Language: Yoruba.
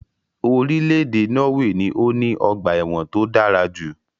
Irílèdè Norway ni o ní ogbà èwòn to dárajù